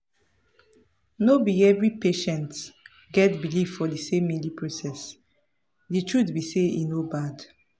no be every patients get believe for the same healing processthe truth be say e no bad.